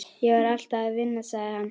Ég var alltaf að vinna, sagði hann.